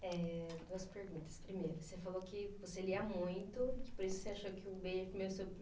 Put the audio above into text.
É, duas perguntas. Primeiro, você falou que você lia muito por isso que você achou que o beijo